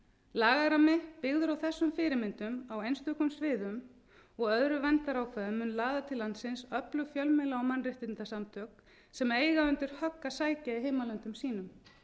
lagarammi byggður á þessum fyrirmyndum á einstökum sviðum og öðrum verndarákvæðum mundi laða til landsins öflug fjölmiðla og mannréttindasamtök sem eiga undir högg að sækja í heimalöndum sínum